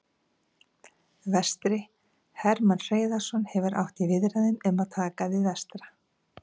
Vestri: Hermann Hreiðarsson hefur átt í viðræðum um að taka við Vestra.